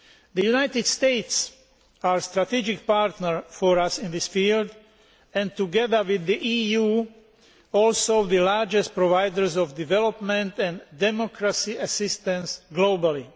The United States, our strategic partner in this field, is together with the EU the largest provider of development and democracy assistance globally.